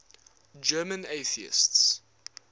german atheists